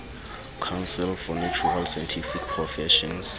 council for natural scientific professions